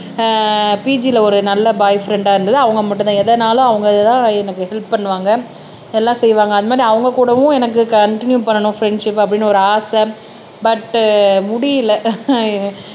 பீஜில ஒரு நல்ல பாய் ஃப்ரெண்டா இருந்தது. அவங்க மட்டும் தான் எதனாலும் அவங்க தான் எனக்கு ஹெல்ப் பண்ணுவாங்க எல்லாம் செய்வாங்க அது மாதிரி அவங்க கூடவும் எனக்கு கண்டினியூ பண்ணனும் ஃப்ரண்ட்ஷிப்ப அப்படின்னு ஒரு ஆசை பட் முடியல